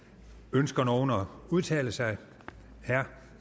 ønsker nogen at udtale sig herre